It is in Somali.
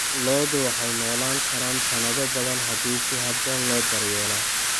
Lo'du waxay noolaan karaan sannado badan haddii si habboon loo daryeelo.